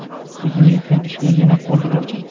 Ko‘zim yetgan ishgagina qo‘l uraman.